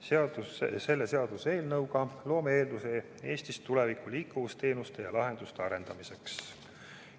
Selle seaduseelnõuga loome eelduse Eestis tuleviku liikuvusteenuste ja -lahenduste arendamiseks.